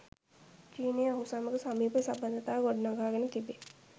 චීනය ඔහු සමග සමීප සබඳතා ගොඩනගාගෙන තිබේ.